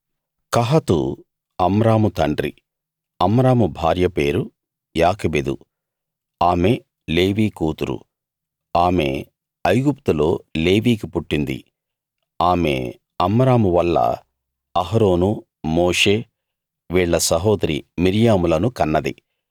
కహాతు Amram తండ్రి Amram భార్య పేరు యోకెబెదు ఆమె లేవీ కూతురు ఆమె ఐగుప్తులో లేవీకి పుట్టింది ఆమె అమ్రామువల్ల అహరోను మోషే వీళ్ళ సహోదరి మిర్యాములను కన్నది